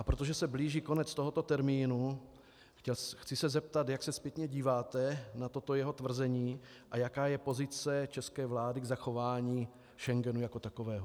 A protože s blíží konec tohoto termínu, chci se zeptat, jak se zpětně díváte na toto jeho tvrzení a jaká je pozice české vlády k zachování Schengenu jako takového.